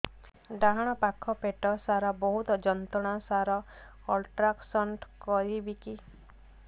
ଡାହାଣ ପାଖ ପେଟ ସାର ବହୁତ ଯନ୍ତ୍ରଣା ସାର ଅଲଟ୍ରାସାଉଣ୍ଡ କରିବି କି